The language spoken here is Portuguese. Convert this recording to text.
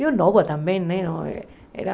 Eu nova também, né?